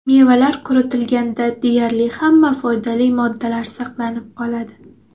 Mevalar quritilganda deyarli hamma foydali moddalar saqlanib qoladi.